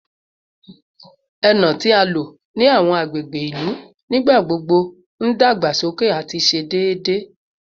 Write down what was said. Eno ti a lo ni awọn agbegbe ilu nigbagbogbo n dagbasoke ati ṣe deede